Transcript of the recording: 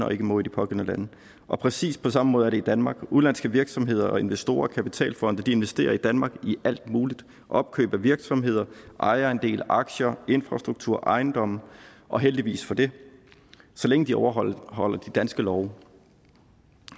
og ikke må i de pågældende lande og præcis på samme måde er det i danmark udenlandske virksomheder og investorer og kapitalfonde investerer i danmark i alt muligt opkøb af virksomheder ejerandele aktier infrastruktur ejendomme og heldigvis for det så længe de overholder de danske love